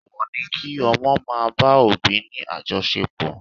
Èèwọ̀ ni kí ọmọ máa bá òbí ni àjọṣepọ̀